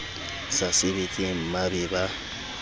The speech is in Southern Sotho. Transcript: sa sebetseng mmba be ba